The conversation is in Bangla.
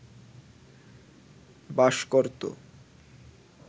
বাস করত